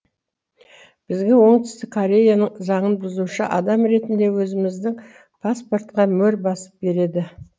бізге оңтүстік кореяның заңын бұзушы адам ретінде өзіміздің паспортқа мөр басып береді